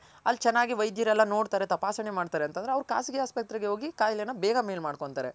ಅಲ್ ಚೆನ್ನಾಗಿ ವ್ಯದ್ಯರೆಲ್ಲ ನೋಡ್ತಾರೆ ತಪಾಸಣೆ ಮಾಡ್ತಾರೆ ಅಂತಂದ್ರೆ ಅವ್ರ್ ಖಾಸಗಿ ಹಾಸ್ಪತ್ರೆಗೆ ಹೋಗಿ ಕಾಯಿಲೆನ ಬೇಗ ಮೇಲ್ ಮಾಡ್ಕೊಂತಾರೆ.